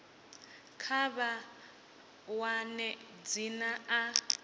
kha vha wane dzina a